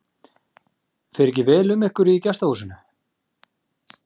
Fer ekki vel um ykkur í gestahúsinu?